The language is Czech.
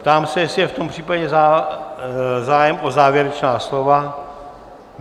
Ptám se, jestli je v tom případě zájem o závěrečná slova?